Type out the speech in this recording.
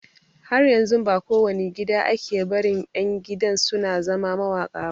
Har yanzun ba ko wani gida ake barin ƴan gidan su zama mawaƙa ba